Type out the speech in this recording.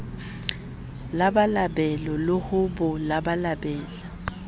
labalabele le ho bo labalabela